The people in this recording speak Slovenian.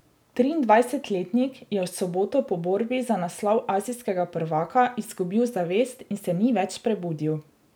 Triindvajsetletnik je v soboto po borbi za naslov azijskega prvaka izgubil zavest in se ni več prebudil.